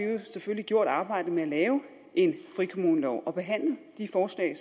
selvfølgelig gjort arbejdet med at lave en frikommunelov og behandle de forslag